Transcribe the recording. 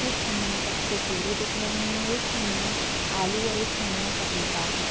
एक खंड में कच्चे केले दिख रहे हैं एक खंड में आलू और एक खंड में पपीता हैं।